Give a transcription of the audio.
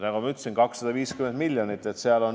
Nagu ma ütlesin, 250 miljonit.